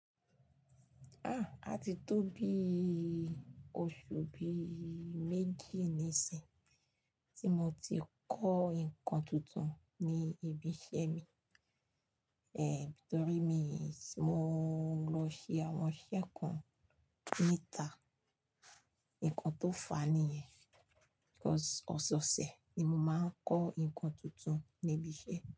Ah! A ti tó bí oṣù bí méjì nísìn tí mo ti kọ́ ǹkan tuntun ní ibi iṣẹ́ mi. Eh, torí mi sì mo lọ ṣe àwọn iṣẹ́ kan níta. Ǹkan tó fà niyẹn cause ọ̀sẹ̀ ọ̀sẹ̀ ni mo máa ń kọ́ nkan tuntun ní ibi iṣẹ́